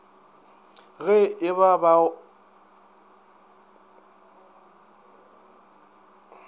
ge e ba ga o